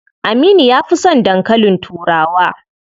Aminu ya fi son dankalin turawa.